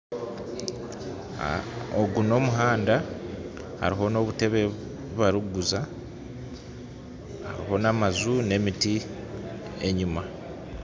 Ogu n'omuhanda hariho n'obutebe bubarikuguza, hariho n'amaju n'emiti enyima.